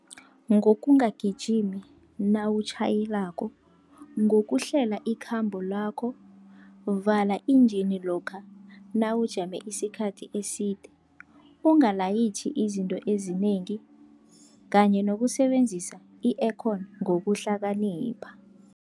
Ngokungagijimi nawutjhayelako, ngokuhlela ikhambo lakho, vala injini lokha nawujame isikhathi eside, ungalayitjhi izinto ezinengi kanye nokusebenzisa i-aircon ngokuhlakanipha.